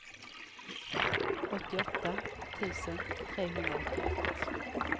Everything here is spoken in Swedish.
åttioåtta tusen trehundraåttioett